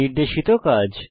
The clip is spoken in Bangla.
নির্দেশিত কাজ